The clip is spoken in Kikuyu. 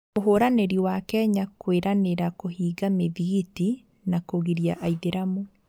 Mũhũranĩri wa Kenya kũĩranĩra kũhinga mĩthikiti na kũgiria aithĩramu